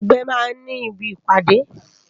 Awòn ègbè má n ni ibi ipàdé